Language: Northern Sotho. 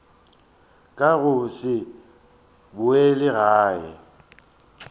ka go se boele gae